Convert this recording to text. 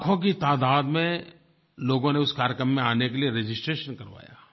लाखों की तादाद में लोगों ने उस कार्यक्रम में आने के लिए रजिस्ट्रेशन करवाया